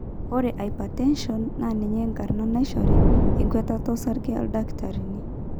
ore hypertension na ninye enkarna naishori enkwetata osarge ildakitarini